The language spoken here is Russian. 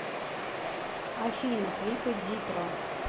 афина клипы дитро